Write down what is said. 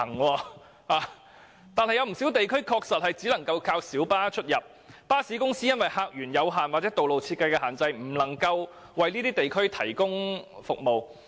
然而，有不少地區的確只靠小巴連接，原因是巴士公司因客源有限或道路設計的限制而無法為有關地區提供服務。